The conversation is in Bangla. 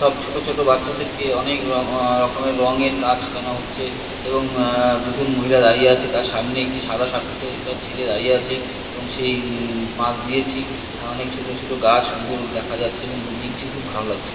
সব ছোট ছোট বাচ্চাদেরকে অনেক র-রকমের রংয়ের কাজ শিখান হচ্ছে এবং-এ দুজন মহিলা দাঁড়িয়ে আছে তার সামনে একটি সাদা শাট ছেলে দাঁড়িয়ে আছে এবং সেই-ই-ই পাশ দিয়ে ঠিক অনেক ছোট ছোট গাছ সুন্দর দেখা যাচ্ছে এবং বিল্ডইন্ড ভালো লাগছে।